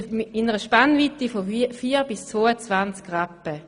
Die Spannweite beträgt zwischen vier und 22 Rappen.